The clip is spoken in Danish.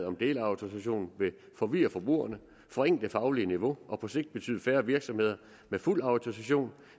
om delautorisation vil forvirre forbrugerne forringe det faglige niveau og på sigt betyde færre virksomheder med fuld autorisation